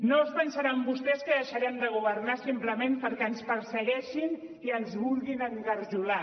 no es duen pensar vostès que deixarem de governar simplement perquè ens persegueixin i ens vulguin engarjolar